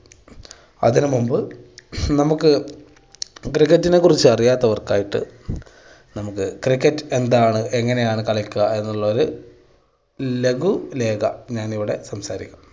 അതിന് മുമ്പ് നമുക്ക് cricket നെ കുറിച്ച് അറിയാത്തവർക്കായിട്ട് നമുക്ക് cricket എന്താണ്, എങ്ങനെയാണ് കളിക്കുക എന്നുള്ളത് ലഘു ലേഖ ഞാൻ ഇവിടെ സംസാരിക്കാം.